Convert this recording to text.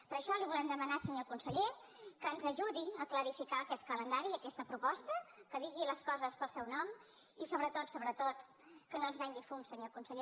per això li volem demanar senyor conseller que ens ajudi a clarificar aquest calendari i aquesta propos·ta que digui les coses pel seu nom i sobretot sobre·tot que no ens vengui fum senyor conseller